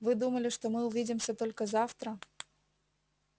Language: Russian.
вы думали что мы увидимся только завтра